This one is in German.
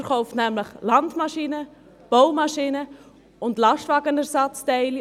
Er verkauft Landmaschinen, Baumaschinen und Lastwagenersatzteile.